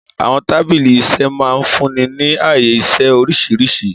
Àwọn tábìlì iṣẹ́ máa ń fúnni ní ààyè-iṣẹ́ oríṣiríṣi.